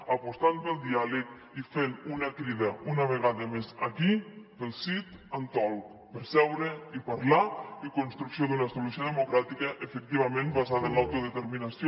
apostant pel diàleg i fent una crida una vegada més aquí per al sit and talk per seure i parlar i per a la construcció d’una solució democràtica efectivament basada en l’autodeterminació